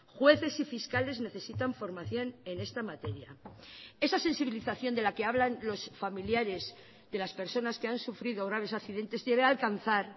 jueces y fiscales necesitan formación en esta materia esa sensibilización de la que hablan los familiares de las personas que han sufrido graves accidentes debe alcanzar